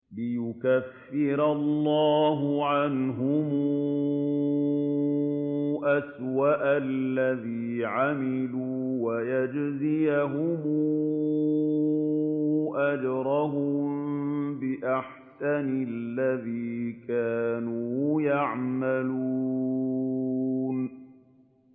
لِيُكَفِّرَ اللَّهُ عَنْهُمْ أَسْوَأَ الَّذِي عَمِلُوا وَيَجْزِيَهُمْ أَجْرَهُم بِأَحْسَنِ الَّذِي كَانُوا يَعْمَلُونَ